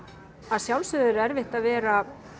að sjálfsögðu er erfitt að vera